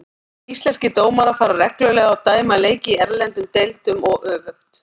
Íslenskir dómarar fara reglulega og dæma leiki í erlendum deildum og öfugt.